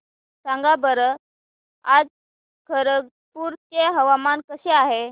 सांगा बरं आज खरगपूर चे हवामान कसे आहे